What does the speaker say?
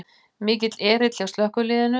Mikill erill hjá slökkviliðinu